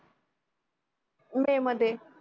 मे मध्ये